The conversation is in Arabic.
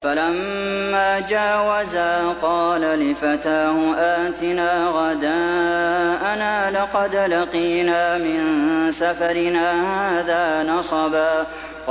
فَلَمَّا جَاوَزَا قَالَ لِفَتَاهُ آتِنَا غَدَاءَنَا لَقَدْ لَقِينَا مِن سَفَرِنَا هَٰذَا نَصَبًا